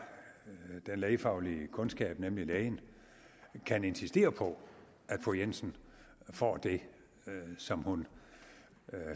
den lægefaglige kundskab nemlig lægen kan insistere på at fru jensen får det som hun